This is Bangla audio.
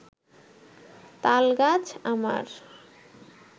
তালগাছ আমার